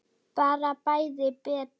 Bara bæði betra.